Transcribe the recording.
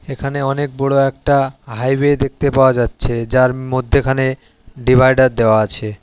এখানে অনেক বড়ো একটা হাইওয়ে দেখতে পাওয়া যাচ্ছে যার মধ্যেখানে ডিভাইডার দেওয়া আছে।